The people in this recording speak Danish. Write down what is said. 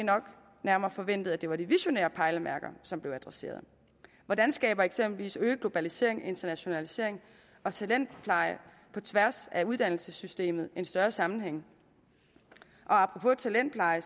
nærmere forventet at det var de visionære pejlemærker som blev adresseret hvordan skaber eksempelvis øget globalisering internationalisering og talentpleje på tværs af uddannelsessystemet en større sammenhæng og apropos talentpleje